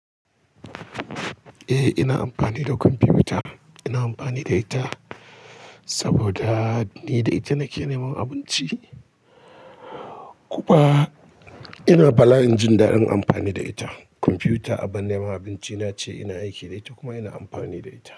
Eh, ina amfani da kwamfuta. Ina amfani da ita, saboda ni da ita nake neman abinci. Kuma ina bala'in jin daɗin amfani da ita. Kwamfuta a bin neman abinci nace ina aiki da ita kuma ina amfani da ita.